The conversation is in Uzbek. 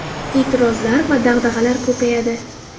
E’tirozlar va dag‘dag‘alar ko‘payadi.